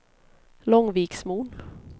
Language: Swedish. Långviksmon